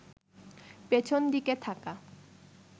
পেছন দিকে থাকা